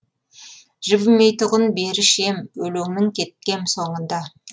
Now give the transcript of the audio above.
жібімейтұғын беріш ем өлеңнің кеткем соңында